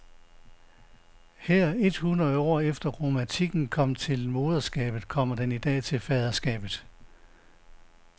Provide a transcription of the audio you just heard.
Her et hundrede år efter, at romantikken kom til moderskabet, kommer den i dag til faderskabet.